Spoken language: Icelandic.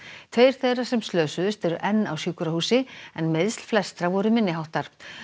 tveir þeirra sem slösuðust eru enn á sjúkrahúsi en meiðsl flestra voru minni háttar